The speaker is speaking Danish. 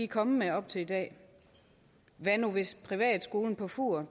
kommet med op til i dag hvad nu hvis privatskolen på fur